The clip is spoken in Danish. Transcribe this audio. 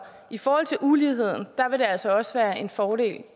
i forhold til uligheden vil det altså også være en fordel